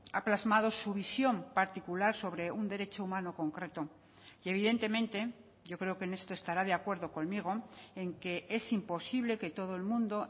ha plasmado su visión particular sobre un derecho humano concreto y evidentemente yo creo que en esto estará de acuerdo conmigo en que es imposible que todo el mundo